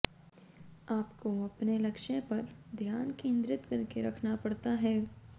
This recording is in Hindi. आपको अपने लक्ष्य पर ध्यान केंद्रित करके रखना पड़ता है